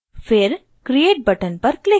फिर create button पर click करें